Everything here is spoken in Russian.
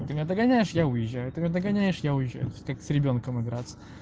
ты меня догоняешь я уезжаю ты меня догоняешь я уезжаю как с ребёнком играться